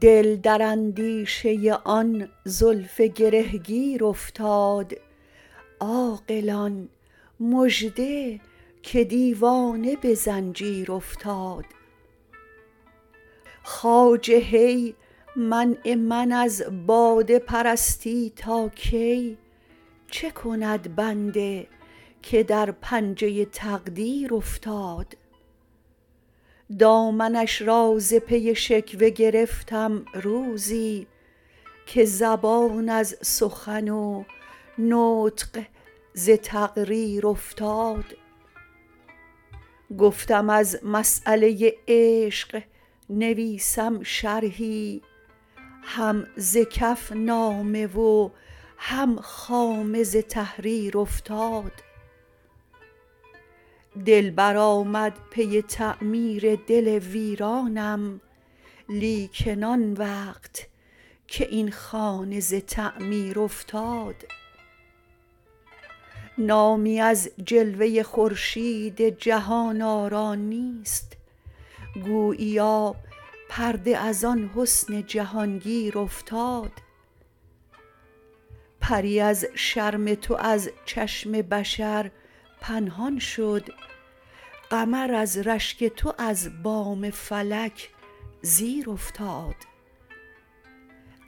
دل در اندیشه آن زلف گره گیر افتاد عاقلان مژده که دیوانه به زنجیر افتاد خواجه هی منع من از باده پرستی تا کی چه کند بنده که در پنجه تقدیر افتاد دامنش را ز پی شکوه گرفتم روزی که زبان از سخن و نطق ز تقریر افتاد گفتم از مساله عشق نویسم شرحی هم ز کف نامه و هم خامه ز تحریر افتاد دلبر آمد پی تعمیر دل ویرانم لیکن آن وقت که این خانه ز تعمیر افتاد نامی از جلوه خورشید جهان آرا نیست گوییا پرده از آن حسن جهان گیر افتاد پری از شرم تو از چشم بشر پنهان شد قمر از رشک تو از بام فلک زیر افتاد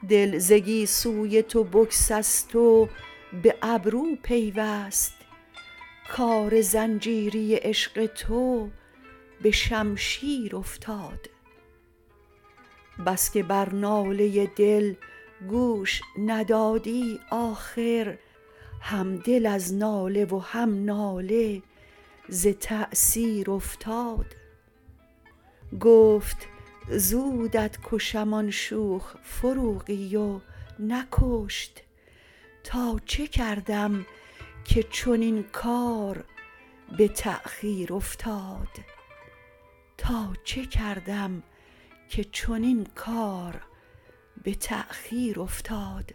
دل ز گیسوی تو بگسست و به ابرو پیوست کار زنجیری عشق تو به شمشیر افتاد بس که بر ناله دل گوش ندادی آخر هم دل از ناله و هم ناله ز تاثیر افتاد گفت زودت کشم آن شوخ فروغی و نکشت تا چه کردم که چنین کار به تاخیر افتاد